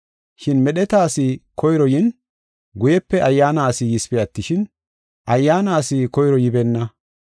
Shin medheta asi koyro yin, guyepe ayyaana asi yisipe attishin, ayyaana asi koyro yibeenna.